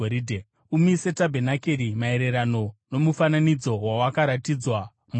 “Umise tabhenakeri maererano nomufananidzo wawakaratidzwa mugomo.